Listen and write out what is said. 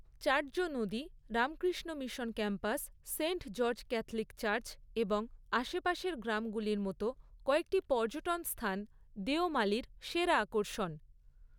চাটজো নদী, Ramakrishna Mission campus, Saint George Catholic church এবং আশেপাশের গ্রামগুলির মতো কয়েকটি পর্যটন স্থান দেওমালির সেরা আকর্ষণ।